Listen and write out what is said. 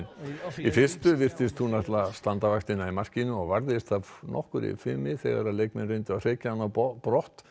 í fyrstu virtist hún ætla að standa vaktina í markinu og varðist af nokkurri fimi þegar leikmenn reyndu að hrekja hana á brott